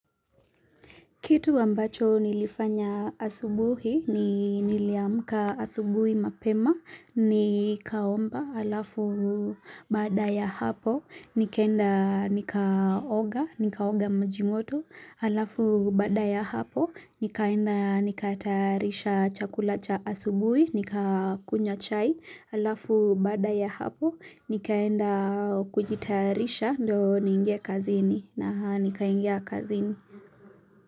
Kitu ambacho nilifanya asubuhi ni niliamka asubuhi mapema, nikaomba, alafu baada ya hapo, nikaenda nikaoga, nikaoga maji moto, alafu baada ya hapo, nikaenda nikatayarisha chakula cha asubuhi, nikakunywa chai, alafu baada ya hapo, nikaenda kujitayarisha ndio niingie kazini na nikaingia kazini.